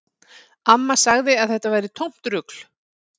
Amma sagði að þetta væri tómt rugl